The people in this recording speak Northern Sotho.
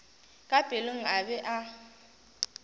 ka pelong a be a